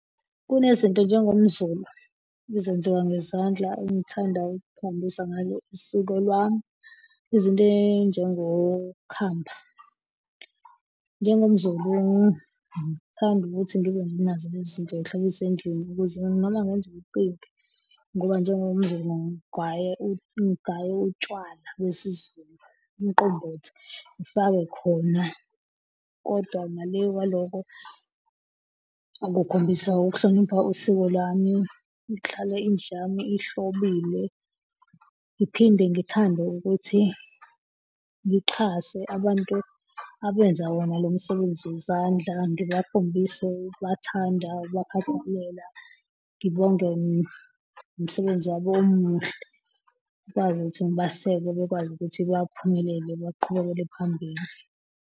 Kunezinto njengomZulu ezenziwa ngezandla engithanda ukuhambisa ngazo usuku lwami izinto ezinjengokhamba. NjengomZulu ngiyathanda ukuthi ngibe nazo lezi zinto zihlobise endlini ukuze noma ngenza umcimbi, ngoba njengomZulu ngiya ngigaye utshwala besiZulu, umqombothi, ngifake khona. Kodwa ngale kwalokho ngikhombisa ukuhlonipha usiko lwami ukuhlala indlu yami ihlobile. Ngiphinde ngithande ukuthi ngixhase abantu abenza wona lo msebenzi wezandla ngibakhombise ukubathanda, ukubakhathalela, ngibonge umsebenzi wabo omuhle. Ngikwazi ukuthi ngibaseke bekwazi ukuthi baphumelele, baqhubekele phambili.